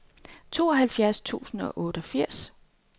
tooghalvfjerds tusind og otteogfirs